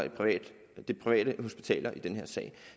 de private hospitaler i den her sag